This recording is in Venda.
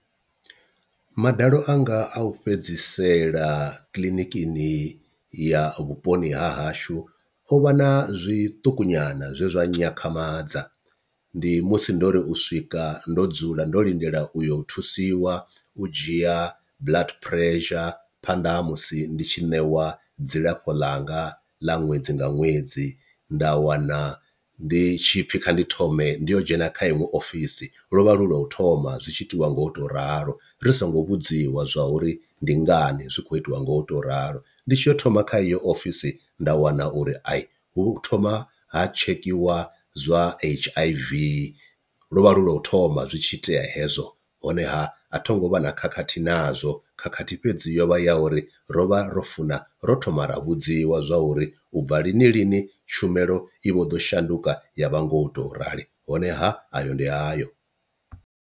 Madalo anga a u fhedzisela kiḽinikini ya vhuponi ha hashu o vha na zwiṱuku nyana zwe zwa nyakhamadza, ndi musi ndo ri u swika ndo dzula ndo lindela u yo u thusiwa u dzhia blood pressure phanḓa ha musi ndi tshi ṋewa dzilafho ḽanga ḽa ṅwedzi nga ṅwedzi, nda wana ndi tshipfi kha ndi thome ndi yo dzhena kha iṅwe ofisi lwo vha lu lwa u thoma zwi tshi itiwa ngo to ralo ri songo vhudziwa zwa uri ndi ngani zwi kho itiwa ngo to ralo, ndi tshi ya u thoma kha iyo ofisi nda wana uri i hu thoma ha tshekhiwa zwa H_I_V lwo vha lu lwa u thoma zwi tshi itea hezwo, honeha a tho ngo vha na khakhathi nazwo khakhathi fhedzi yo vha ya uri ro vha ro funa ro thoma ra vhudziwa zwa uri u bva lini lini tshumelo i vho ḓo shanduka ya vha ngo to rali honeha ayo ndi ayo.